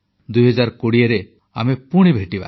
2020ରେ ଆମେ ପୁଣି ଭେଟିବା